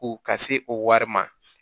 Ko ka se o wari ma